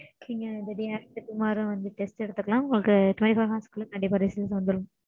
நீங்க the day after tomorrow வந்து test எடுத்துக்கலாம் உங்களுக்கு twenty four hours க் குள்ள கண்டிப்பா result வந்துரும்.